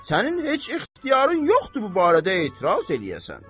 Sənin heç ixtiyarın yoxdur bu barədə etiraz eləyəsən.